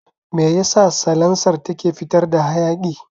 Meyasa salansar take fitar da hayaƙi?